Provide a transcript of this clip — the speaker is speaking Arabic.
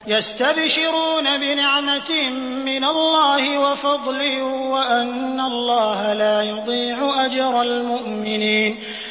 ۞ يَسْتَبْشِرُونَ بِنِعْمَةٍ مِّنَ اللَّهِ وَفَضْلٍ وَأَنَّ اللَّهَ لَا يُضِيعُ أَجْرَ الْمُؤْمِنِينَ